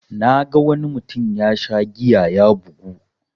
Naga wani mutum yasha giya ya bugu.